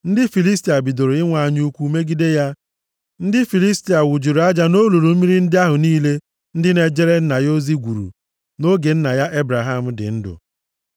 Ndị Filistia wụjuru aja nʼolulu mmiri ndị ahụ niile ndị na-ejere nna ya ozi gwuru nʼoge nna ya Ebraham dị ndụ.